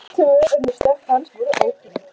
Tvö önnur stökk hans voru ógild